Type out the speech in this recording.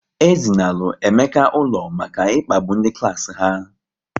E zinalu Emeka ụlọ maka ịkpagbu ndị klas ha